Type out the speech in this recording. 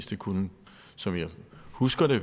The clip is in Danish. det kunne som jeg husker det